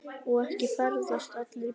Og ekki ferðast allir í bílum.